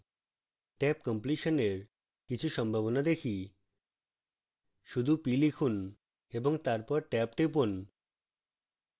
tab completion এর এর কিছু সম্ভাবনা দেখি